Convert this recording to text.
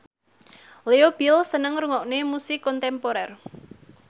Leo Bill seneng ngrungokne musik kontemporer